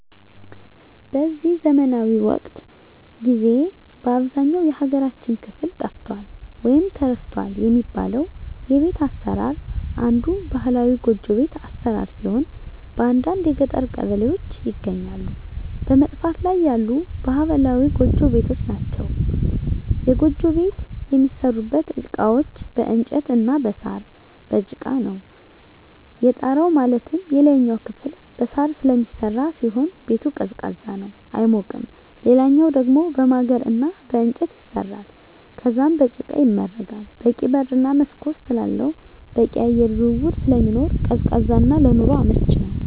በዚህ ዘመናዊ ወቅት ጊዜ በአብዛኛው የሀገራችን ክፍል ጠፍቷል ወይም ተረስቷል የሚባለው የቤት አሰራር አንዱ ባህላዊ ጎጆ ቤት አሰራር ሲሆን በአንዳንድ የገጠር ቀበሌዎች ይገኛሉ በመጥፋት ላይ ያሉ ባህላዊ ጎጆ ቤቶች ናቸዉ። የጎጆ ቤት የሚሠሩበት እቃዎች በእንጨት እና በሳር፣ በጭቃ ነው። የጣራው ማለትም የላይኛው ክፍል በሳር ስለሚሰራ ሲሆን ቤቱ ቀዝቃዛ ነው አይሞቅም ሌላኛው ደሞ በማገር እና በእንጨት ይሰራል ከዛም በጭቃ ይመረጋል በቂ በር እና መስኮት ስላለው በቂ የአየር ዝውውር ስለሚኖር ቀዝቃዛ እና ለኑሮ አመቺ ነው።